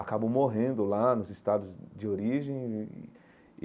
Acabam morrendo lá nos estados de origem e e e.